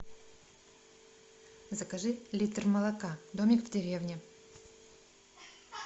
закажи литр молока домик в деревне